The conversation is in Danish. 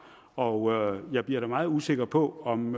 og jeg bliver da meget usikker på om